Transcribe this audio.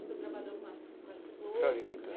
O senhor trabalhou com as, com as flores, né?